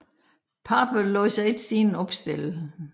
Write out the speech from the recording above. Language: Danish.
Pape lod sig ikke siden opstille